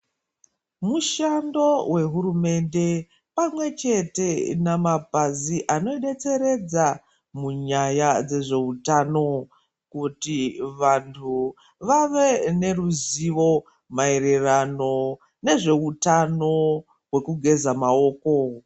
Mushando wehurumende pamwe chete nemapazi anodetseredza munyaya dzezvehutano kuti vantu vave neruzivo maererano nezvehutano hwekugeza maoko.